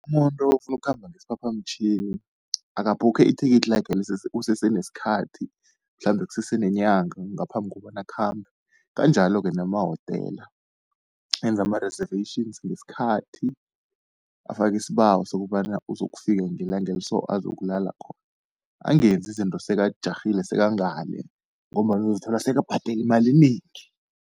Umuntu ofuna ukukhamba ngesiphaphamtjhini, akabhukhe ithikithi lakhe kusese nesikhathi, mhlambe kusese nenyanga ngaphambi kokobana akhambe, kanjalo-ke nemahotela enze ama-reservations ngesikhathi, afake isibawo sokobana uzokufika ngelanga eli so azokulala khona. Angenzi izinto sekajarhile sekangale, ngombana uzozithola sekabhadela imali enengi.